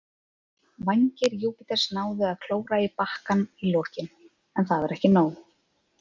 Vængir Júpiters náðu að klóra í bakkann í lokin, en það var ekki nóg.